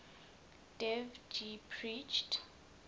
dev ji preached